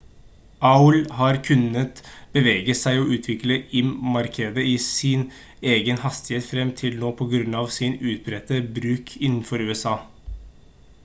aol har kunnet bevege seg og utvikle im-markedet i sin egen hastighet frem til nå på grunn av sin utbredte bruk innenfor usa